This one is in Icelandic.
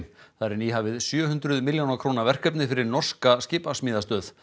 þar er nýhafið sjö hundruð milljóna króna verkefni fyrir norska skipasmíðastöð